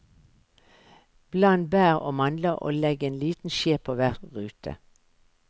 Bland bær og mandler og legg en liten skje på hver rute.